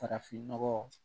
Farafinnɔgɔ